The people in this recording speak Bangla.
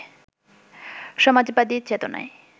সমাজবাদী চেতনায়